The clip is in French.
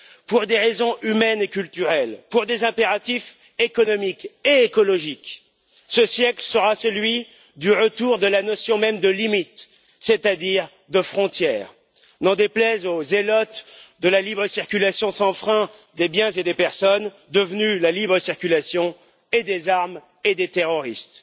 Pour des raisons humaines et culturelles, pour des impératifs économiques et écologiques, ce siècle sera celui du retour de la notion même de limite, c'est à dire de frontière, n'en déplaise aux zélotes de la libre circulation sans frein des biens et des personnes, devenue la libre circulation et des armes et des terroristes.